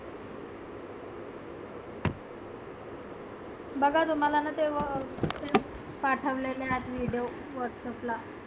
बघा तुम्हाला ते अं पाठवलेलं video whatsapp ला.